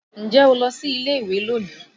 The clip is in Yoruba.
Ǹjẹ́ o lọ sí ilé ìwé lónìí?